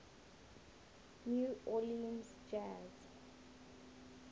new orleans jazz